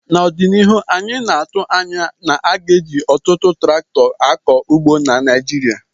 N' ọdịnihu anyị na-atụ anya na a ga-eji ọtụtụ traktọ akọ ugbo na Naijiria